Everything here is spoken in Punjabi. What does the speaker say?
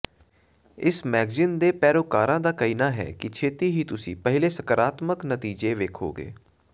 ਇਸ ਮੈਗਜ਼ੀਨ ਦੇ ਪੈਰੋਕਾਰਾਂ ਦਾ ਕਹਿਣਾ ਹੈ ਕਿ ਛੇਤੀ ਹੀ ਤੁਸੀਂ ਪਹਿਲੇ ਸਕਾਰਾਤਮਕ ਨਤੀਜੇ ਵੇਖੋਗੇ